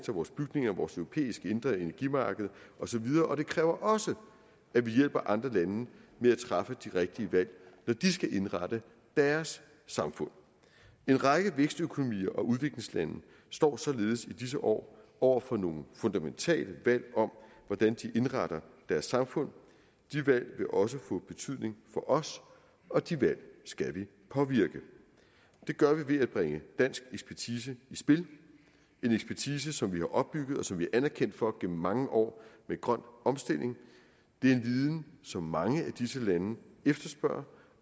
vores bygninger vores europæiske indre energimarked osv og det kræver også at vi hjælper andre lande med at træffe de rigtige valg når de skal indrette deres samfund en række vækstøkonomier og udviklingslande står således i disse år over for nogle fundamentale valg om hvordan de indretter deres samfund de valg vil også få betydning for os og de valg skal vi påvirke det gør vi ved at bringe dansk ekspertise i spil en ekspertise som vi har opbygget og som vi er anerkendt for gennem mange år med grøn omstilling det er en viden som mange af disse lande efterspørger